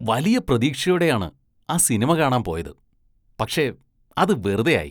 വലിയ പ്രതീക്ഷയോടെയാണ് ആ സിനിമ കാണാന്‍ പോയത്, പക്ഷേ അത് വെറുതെയായി.